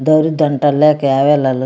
दारू दनटा लेके आवेला ल --